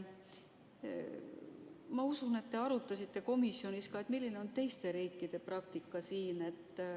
Ma usun, et te arutasite komisjonis, milline on siin teiste riikide praktika.